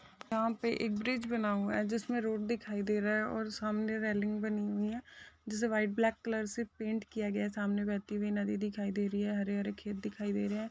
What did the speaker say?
यहा पे एक ब्रिज बना हुआ हे जिसमे रोड दिखाई दे रहा है और सामने रेलिंग बनी हुई हे जिससे व्हाइट ब्लैक कलर से पेन्ट किया गया है सामने बहती हुई नदी दिखाई दे रही है हरे हरे खेत दिखाई दे रहे हैं।